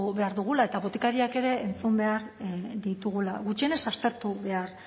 behar dugula eta botikarioak ere entzun behar ditugula gutxienez aztertu behar